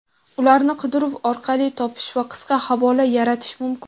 ularni qidiruv orqali topish va qisqa havola yaratish mumkin.